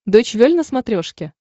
дойч вель на смотрешке